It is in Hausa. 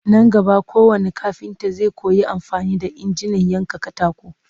Nan gaba kowannn kafinta zai koyi amfani da injinan yankan katako